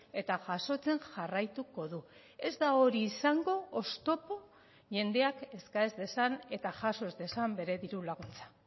eta jasotzen jarraituko du ez da hori izango oztopo jendeak eska ez dezan eta jaso ez dezan bere diru laguntza